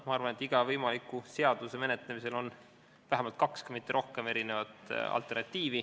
Ma arvan, et iga seaduse menetlemisel on vähemalt kaks alternatiivi, kui mitte rohkem.